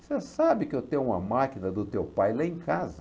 Você sabe que eu tenho uma máquina do teu pai lá em casa.